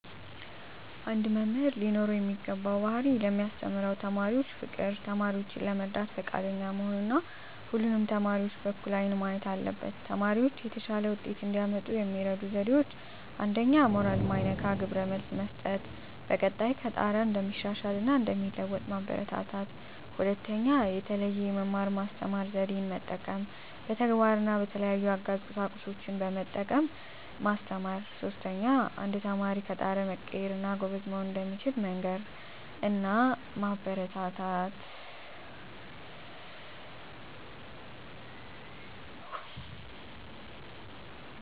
አንድ መምህር ሊኖረው የሚገባው ባህሪ ለሚያስተምራቸው ተማሪዎች ፍቅር፣ ተማሪዎችን ለመርዳት ፈቃደኛ መሆን እና ሁሉንም ተማሪዎች በእኩል አይን ማየት አለበት። ተማሪዎች የተሻለ ውጤት እንዲያመጡ የሚረዱ ዜዴዎች 1ኛ. ሞራል ማይነካ ግብረ መልስ መስጠት፣ በቀጣይ ከጣረ እንደሚሻሻል እና እንደሚለዎጡ ማበራታታት። 2ኛ. የተለየ የመማር ማስተማር ዜዴን መጠቀም፣ በተግባር እና በተለያዩ አጋዥ ቁሳቁሶችን በመጠቀም ማስተማር። 3ኛ. አንድ ተማሪ ከጣረ መቀየር እና ጎበዝ መሆን እንደሚችል መንገር እና ማበረታታት።